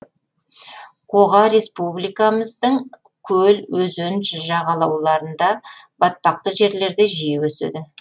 қоға республикамыздың көл өзен жағалауларында батпақты жерлерде жиі өседі